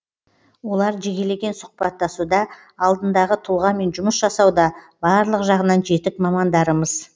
олар жекелеген сұхбаттасуда алдындағы тұлғамен жұмыс жасауда барлық жағынан жетік мамандарымыз